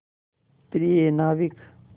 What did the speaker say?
प्रिय नाविक